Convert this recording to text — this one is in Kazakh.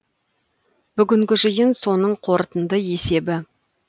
бүгінгі жиын соның қорытынды есебі